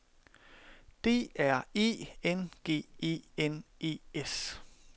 D R E N G E N E S